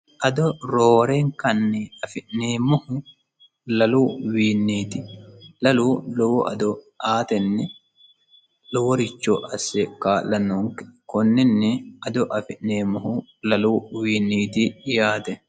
ado roorenkanni afi'neemmohu lalu wiinniiti lalu lowo ado aatenni loworicho asse kaa'la noonke konninni ado afi'neemmohu lalu wiinniiti yaate